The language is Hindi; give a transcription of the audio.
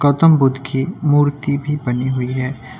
गौतम बुद्ध की मूर्ति भी बनी हुई है।